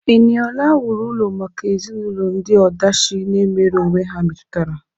Eniola wuru ụlọ maka ezinụlọ ndị ọdachi na-emere onwe ha metụtara.